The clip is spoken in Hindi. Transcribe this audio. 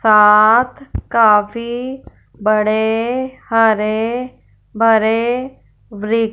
साथ काफी बड़े हरे भरे वृ--